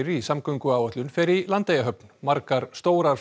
í samgönguáætlun fer í Landeyjahöfn margar stórar